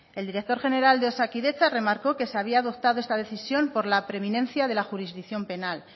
el director general de osakidetza remarcó que se había adoptado esta decisión por la preeminencia de la jurisdicción penal